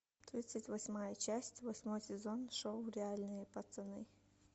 тридцать восьмая часть восьмой сезон шоу реальные пацаны